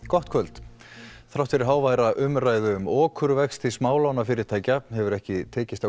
gott kvöld þrátt fyrir háværa umræðu um okurvexti smálánafyrirtækja hefur ekki tekist að